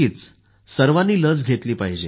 सर्वांना लसीच्या मात्रा घ्यायला हव्यात